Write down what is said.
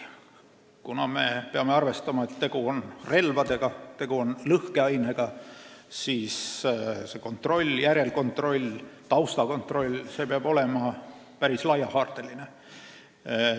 Me peame ikkagi arvestama, et tegu on relvadega ja lõhkeainega – järelkontroll ja taustakontroll peavad olema päris laiahaardelised.